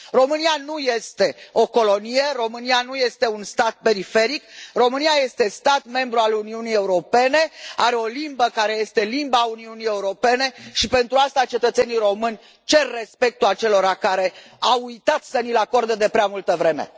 România nu este o colonie, România nu este un stat periferic, România este stat membru al Uniunii Europene, are o limbă care este limbă a Uniunii Europene și, pentru asta, cetățenii români cer respectul acelora care au uitat să ni l acorde de prea multă vreme.